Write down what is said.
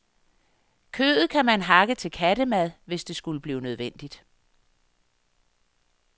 Kødet kan man hakke til kattemad, hvis det skulle blive nødvendigt.